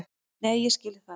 Nei, ég skil það.